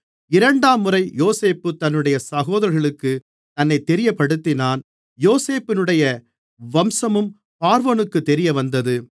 இரண்டாம்முறை யோசேப்பு தன்னுடைய சகோதரர்களுக்குத் தன்னைத் தெரியப்படுத்தினான் யோசேப்புடைய வம்சமும் பார்வோனுக்குத் தெரியவந்தது